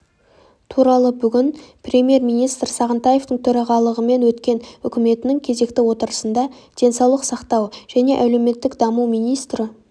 туралы бүгін премьер-министр сағынтаевтың төрағалығымен өткен үкіметінің кезекті отырысында денсаулық сақтау және әлеуметтік даму министрі